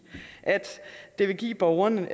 at det vil give borgeren